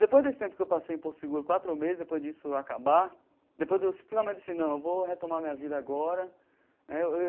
Depois desse tempo que eu passei em Porto Seguro, quatro meses, depois disso acabar, depois de eu finalmente disse, não, eu vou retomar minha vida agora né.